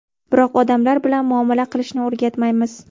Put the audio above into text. Biroq odamlar bilan muomala qilishni o‘rgatmaymiz.